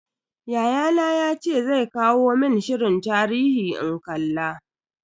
Yayana yace zai kawo mun shirin tarihi in kalla.